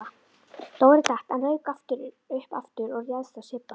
Dóri datt en rauk upp aftur og réðst á Sibba.